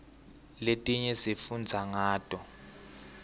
letinye sifundza ngato